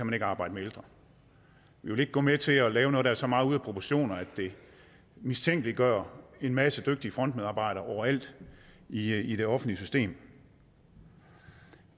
man ikke arbejde med ældre vi vil ikke gå med til at lave noget der er så meget ude af proportioner at det mistænkeliggør en masse dygtige frontmedarbejdere overalt i i det offentlige system